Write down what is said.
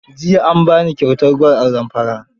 Jiya an ba ni kyautar gwal a Zamfara.